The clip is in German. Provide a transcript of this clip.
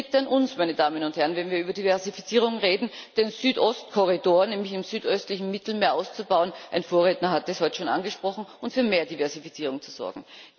Es liegt an uns, meine Damen und Herren, wenn wir über Diversifizierung reden, den Südost Korridor im südöstlichen Mittelmeer auszubauen ein Vorredner hat das heute schon angesprochen und für mehr Diversifizierung zu sorgen.